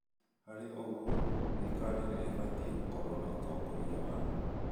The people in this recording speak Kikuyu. Harĩ ũguo, thirikari ĩbatie gũkorwo na ũtongoria wa